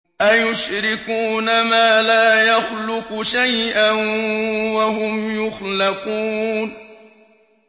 أَيُشْرِكُونَ مَا لَا يَخْلُقُ شَيْئًا وَهُمْ يُخْلَقُونَ